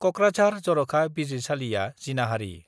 कक्राझार जर'खा बिजिरसालिआ जिनाहारि .